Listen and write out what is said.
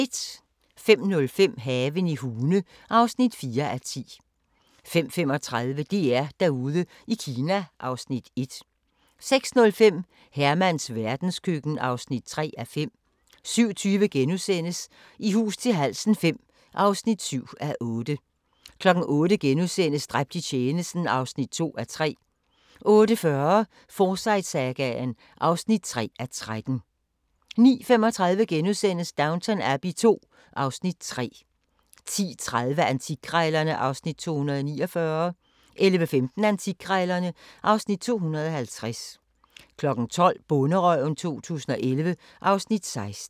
05:05: Haven i Hune (4:10) 05:35: DR-Derude i Kina (Afs. 1) 06:05: Hermans verdenskøkken (3:5) 07:20: I hus til halsen V (7:8)* 08:00: Dræbt i tjenesten (2:3)* 08:40: Forsyte-sagaen (3:13) 09:35: Downton Abbey II (Afs. 3)* 10:30: Antikkrejlerne (Afs. 249) 11:15: Antikkrejlerne (Afs. 250) 12:00: Bonderøven 2011 (Afs. 16)